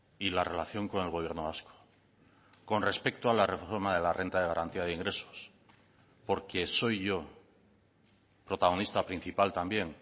y la relación con el gobierno vasco con respecto a la reforma de la renta de garantía de ingresos porque soy yo protagonista principal también